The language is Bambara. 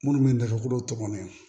Minnu bɛ dagakolo tɔmɔ